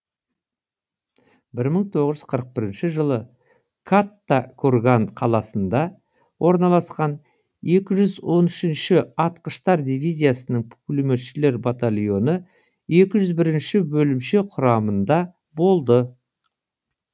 бір мың тоғыз жүз қырық бірінші жылы катта курган қаласында орналасқан екі жүз он үшінші атқыштар дивизиясының пулеметшілер батальоны екі жүз бірінші бөлімше құрамында болды